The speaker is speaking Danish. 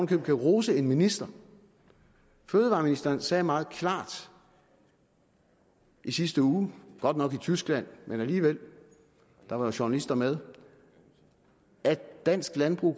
kan rose en minister fødevareministeren sagde meget klart i sidste uge godt nok i tyskland men alligevel der var journalister med at dansk landbrug